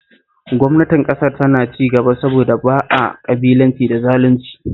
Gwamnatin Ƙasar tana cigaba saboda ba a ƙabilanci da zalunci